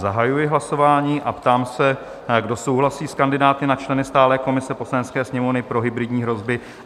Zahajuji hlasování a ptám se, kdo souhlasí s kandidáty na členy stálé komise Poslanecké sněmovny pro hybridní hrozby?